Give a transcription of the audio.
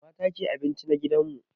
Mata ke abinci a gidan mu.